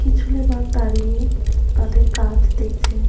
কিছু লেবার দাঁড়িয়ে তাদের কাজ দেখছেন ।